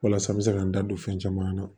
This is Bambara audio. Walasa n bɛ se k'an da don fɛn caman na